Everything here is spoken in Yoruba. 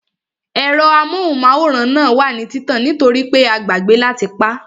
Ẹ̀rọ amóhùnmáwòrán náà wà ní títàn nítorípé a gbàgbẹ́ láti pá